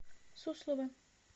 суслова